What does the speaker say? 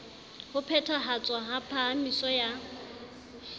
ho phethahatswa ha phahamiso ya